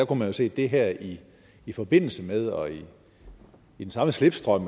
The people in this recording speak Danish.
kunne se det her i i forbindelse med og i den samme slipstrøm